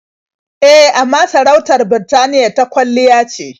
E, amma sarautar Birtaniya ta kwalliya ce.